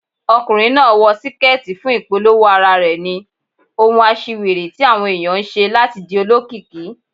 Ọkùnrin náà wọ síkẹ́tì fún ìpolówó ara rẹ̀ ni, ohun aṣiwèrè tí àwọn ẹ̀yàn ń ṣe láti di olókìkí.